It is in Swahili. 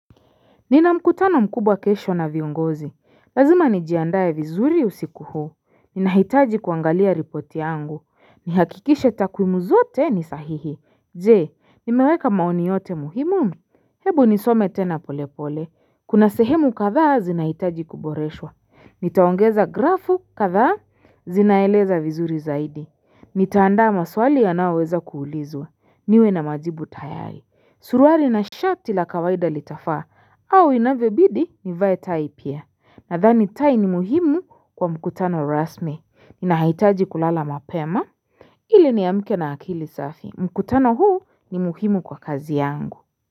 Nina mkutano mkubwa kesho na viongozi. Lazima nijiandae vizuri usiku huu. Ninahitaji kuangalia ripoti yangu. Nihakikishe takwimu zote ni sahihi. Je, nimeweka maoni yote muhimu. Hebu nisome tena pole pole. Kuna sehemu kadhaa zinahitaji kuboreshwa. Nitaongeza grafu kadhaa zinaeleza vizuri zaidi. Nitaandaa maswali yanayoweza kuulizwa. Niwe na majibu tayari. Suruwali na shati la kawaida litafaa. Au inavyobidi nivae tai pia. Nadhani tai ni muhimu kwa mkutano rasmi. Ninahitaji kulala mapema. Ili niamke na akili safi. Mkutano huu ni muhimu kwa kazi yangu.